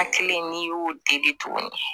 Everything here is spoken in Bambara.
Hakili n'i y'o deli tuguni